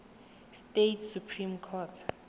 states supreme court